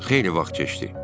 Xeyli vaxt keçdi.